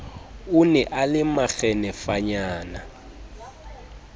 o ne a le makgenefanyana